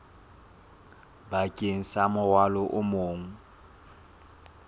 bakeng sa morwalo o mong